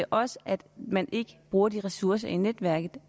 også at man ikke bruger de ressourcer i netværket